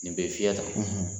Nin bɛ fiyɛ tan